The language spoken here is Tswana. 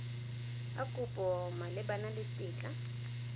a kopo malebana le tetla